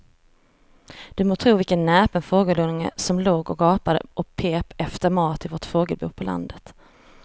Du må tro vilken näpen fågelunge som låg och gapade och pep efter mat i vårt fågelbo på landet.